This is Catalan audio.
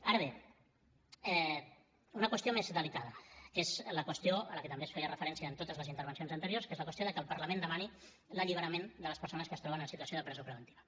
ara bé una qüestió més delicada que és la qüestió a la que també es feia referència en totes les intervencions anteriors que és la qüestió de que el parlament demani l’alliberament de les persones que es troben en situació de presó preventiva